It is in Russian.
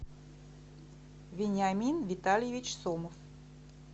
вениамин витальевич сомов